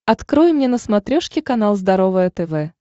открой мне на смотрешке канал здоровое тв